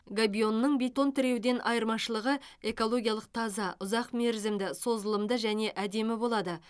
габионның бетон тіреуден айырмашылығы экологиялық таза ұзақ мерзімді созылымды және әдемі болады